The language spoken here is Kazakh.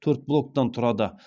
төрт блоктан тұрады